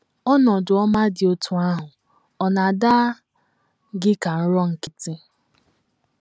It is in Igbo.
Ọnọdụ ọma dị otú ahụ ọ̀ na - ada gị ka nrọ nkịtị?